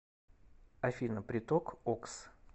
афина приток окс